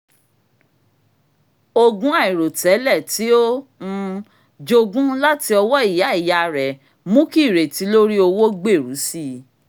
ogún àìròtẹ́lẹ̀ tí ó um jogún láti ọwọ́ ìyá ìyá rẹ̀ mú kí ìrètí lorí owó gbèru sì i